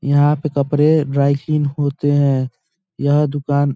यहाँ पे कपड़े ड्राई क्लीन होते हैं यह दुकान --